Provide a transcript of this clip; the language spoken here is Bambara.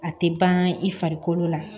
A tɛ ban i farikolo la